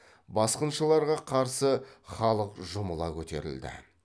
басқыншыларға қарсы халық жұмыла көтерілді